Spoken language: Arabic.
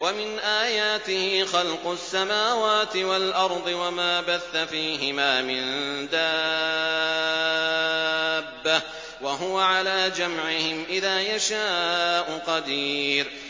وَمِنْ آيَاتِهِ خَلْقُ السَّمَاوَاتِ وَالْأَرْضِ وَمَا بَثَّ فِيهِمَا مِن دَابَّةٍ ۚ وَهُوَ عَلَىٰ جَمْعِهِمْ إِذَا يَشَاءُ قَدِيرٌ